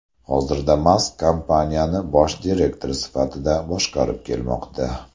Hozirda Mask kompaniyani bosh direktor sifatida boshqarib kelmoqda.